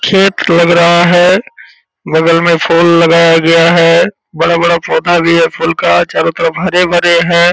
खेत लग रहा है। बगल में फूल लगाया गया है। बड़ा-बड़ा पौधा भी है फूल का चारो तरफ हरे-भरे हैं।